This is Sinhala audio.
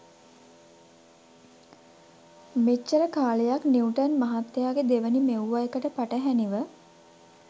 මෙච්චර කාලයක් නිවුටන් මහත්තයාගෙ දෙවෙනි මෙව්ව එකට පටහැනිව